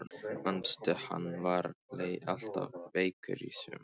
Manstu hann var alltaf veikur í sumar?